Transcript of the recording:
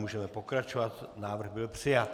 Můžeme pokračovat, návrh byl přijat.